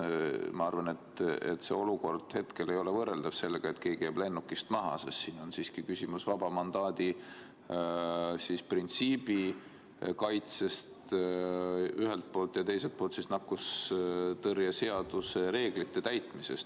Ma arvan, et see olukord ei ole võrreldav sellega, kui keegi jääb lennukist maha, sest siin on küsimus ühelt poolt vaba mandaadi printsiibi kaitses ja teiselt poolt nakkushaiguste ennetamise ja tõrje seaduse reeglite täitmises.